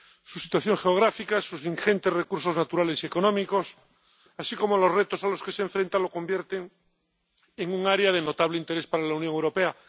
Su situación geográfica, sus ingentes recursos naturales y económicos, así como los retos a los que se enfrenta, la convierten en un área de notable interés para la Unión Europea.